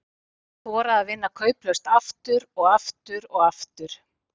Þora að vinna kauplaust, aftur og aftur og aftur.